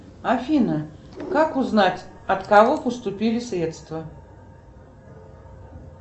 афина как узнать от кого поступили средства